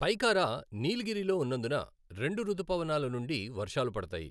పైకారా, నీలగిరిలో ఉన్నందున, రెండు రుతుపవనాల నుండి వర్షాలు పడతాయి .